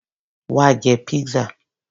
Wá jẹ Pizza.